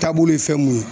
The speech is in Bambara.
Taabolo ye fɛn mun ye